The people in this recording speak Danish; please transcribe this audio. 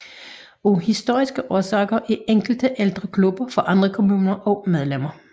Af historiske årsager er enkelte ældre klubber fra andre kommuner også medlemmer